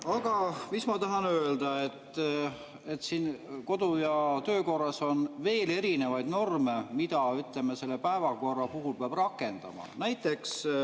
Aga ma tahan öelda, et kodu‑ ja töökorras on veel erinevaid norme, mida, ütleme, selle päevakorra puhul peab rakendama.